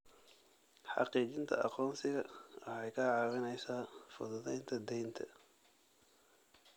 Xaqiijinta aqoonsiga waxay kaa caawinaysaa fududaynta deynta.